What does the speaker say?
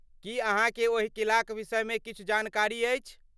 की अहाँके ओहि किलाक विषयमे किछु जानकारी अछि?